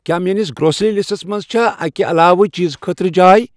کیا میٲنِس grocery lists منز چھا اکِہ علاوٕ چیزٕ خٲطرٕ جاے ۔